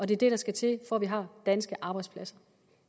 det der skal til for at vi har danske arbejdspladser